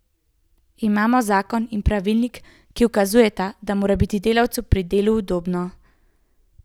Imamo zakon in pravilnik, ki ukazujeta, da mora biti delavcu pri delu udobno.